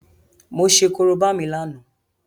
Mo ṣe Korobá mi lánàá